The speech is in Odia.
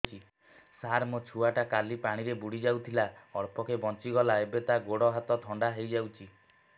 ସାର ମୋ ଛୁଆ ଟା କାଲି ପାଣି ରେ ବୁଡି ଯାଇଥିଲା ଅଳ୍ପ କି ବଞ୍ଚି ଗଲା ଏବେ ତା ଗୋଡ଼ ହାତ ଥଣ୍ଡା ହେଇଯାଉଛି